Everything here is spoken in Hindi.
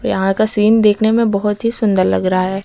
यहां का सीन देखने में बहोत ही सुंदर लग रहा है।